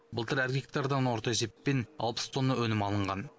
былтыр әр гектардан орта есеппен алпыс тонна өнім алынған